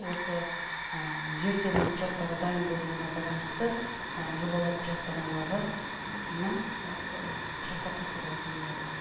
осы жер телімінің құжаттары дайын болуына байланысты жобалау құжаттамалары құжаттар тапсырылатын болады